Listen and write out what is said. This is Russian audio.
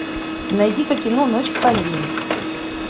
найди ка кино ночь в париже